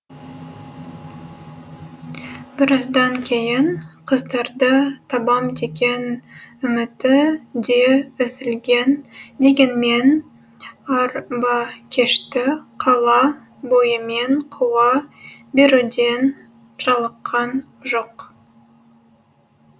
біраздан кейін қыздарды табам деген үміті де үзілген дегенмен арбакешті қала бойымен қуа беруден жалыққан жоқ